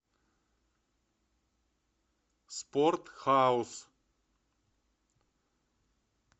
спорт хаус